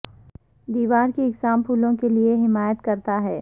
دیوار کی اقسام پھولوں کے لئے حمایت کرتا ہے